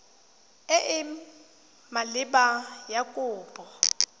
e e maleba ya kopo